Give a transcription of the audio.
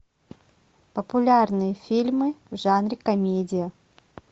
популярные фильмы в жанре комедия